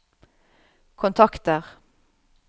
kontakter